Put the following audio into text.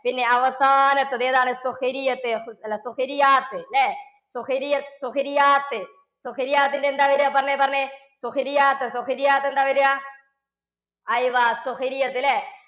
പിന്നെ അവസാനത്തത്. ഏതാണ്? അല്ല. ല്ലേ. എന്താ വരാ പറഞ്ഞെ പറഞ്ഞെ. എന്താവരാ? ല്ലേ?